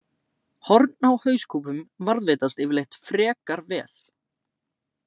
Horn á hauskúpum varðveitast yfirleitt frekar vel.